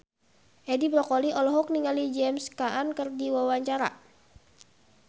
Edi Brokoli olohok ningali James Caan keur diwawancara